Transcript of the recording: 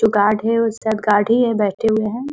जो गार्ड उसमें गाड़ी है जो बैठे हुए है।